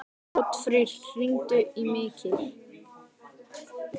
Oddfreyr, hringdu í Mikil.